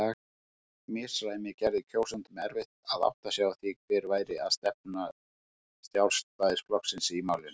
Misræmið gerði kjósendum erfitt að átta sig á því hver væri stefna Sjálfstæðisflokksins í málinu.